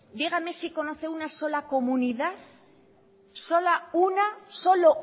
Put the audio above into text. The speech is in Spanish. dígame si conoce una sola comunidad solo